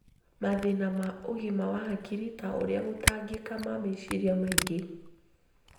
Mathĩna ma ũgima wa hakiri ta ũrĩa gũtangĩka ma meciria maingĩ